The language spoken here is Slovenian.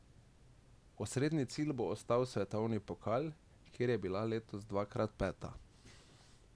Osrednji cilj bo ostal svetovni pokal, kjer je bila letos dvakrat peta.